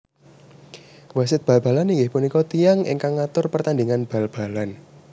Wasit bal balan inggih punika tiyang ingkang ngatur pertandhingan bal balan